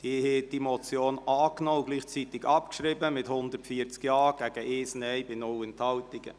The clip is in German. Sie haben diese Motion angenommen und gleichzeitig abgeschrieben, mit 140 Ja-Stimmen gegen 1 Nein-Stimme bei 0 Enthaltungen.